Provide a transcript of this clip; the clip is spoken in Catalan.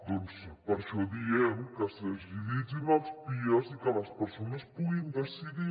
doncs per això diem que s’agilitzin els pias i que les persones puguin decidir